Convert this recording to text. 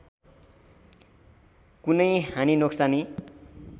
कुनै हानि नोक्सानी